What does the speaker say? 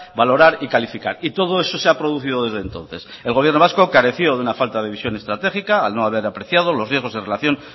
valorar y calificar y todo eso se ha producido desde entonces el gobierno vasco careció de una falta de visión estratégica al no haber apreciado los riesgos en relación